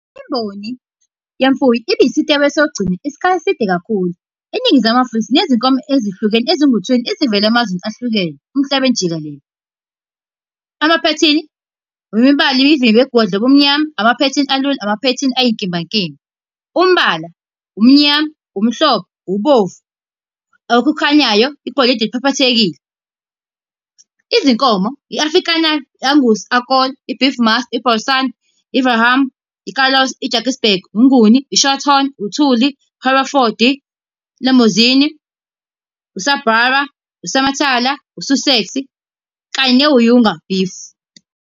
Imboni yemfuyo isikhathi eside kakhulu. ENingizimu Afrika sinezinkomo ezihlukene ezingu-twenty ezivela emazweni ahlukene, emhlabeni jikelele. Amaphethini, imibala, imivimbo egwedla ubumnyama, amaphethini alula, amaphethini ayinkimba nkimba. Umbala, umnyama, umhlophe, ubomvu, okukhanyayo, igolide eliphaphathekile. Izinkomo, i-Afrikaaner, Angus, Akol, i-Beefmaster, i-Bonsmara, i-Charolais, i-Drakensberg, uMnguni, i-Shorthorn, uThuli, Hereford, Limousin, u-Sussex kanye beef.